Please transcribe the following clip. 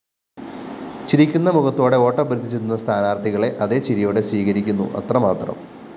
ചിരിക്കുന്ന മുഖത്തോടെ വോട്ടഭ്യര്‍ത്ഥിച്ചെത്തുന്ന സ്ഥാനാര്‍ത്ഥികളെ അതേ ചിരിയോടെ സ്വീകരിക്കുന്നു അത്രമാത്രം